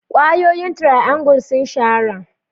Ƙwayoyin triangle sun shahara.